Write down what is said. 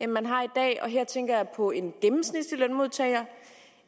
end man har i dag og her tænker jeg på en gennemsnitlig lønmodtager